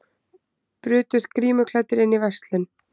Brutust grímuklæddir inn í verslun